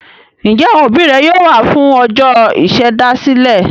Ǹjẹ́ àwọn òbí rẹ yóò wá fún ọjọ́ ìṣèdásílẹ̀?